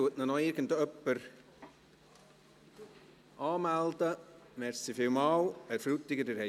Meldet ihn noch irgendjemand für die Rednerliste an?